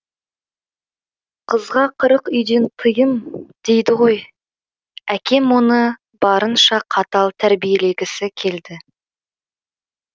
қызға қырық үйден тыйым дейді ғой әкем оны барынша қатал тәрбиелегісі келді